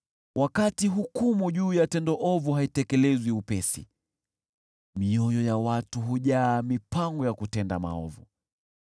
Wakati hukumu juu ya tendo ovu haitekelezwi upesi, mioyo ya watu hujaa mipango ya kutenda maovu.